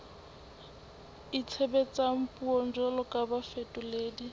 itshebetsang puong jwalo ka bafetoledi